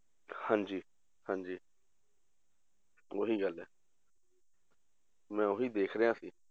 ਹਾਂਜੀ ਹਾਂਜੀ ਉਹੀ ਗੱਲ ਹੈ ਮੈਂ ਉਹੀ ਦੇਖ ਰਿਹਾ ਸੀ